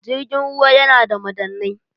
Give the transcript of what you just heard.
jirgin ruwa yana da madannai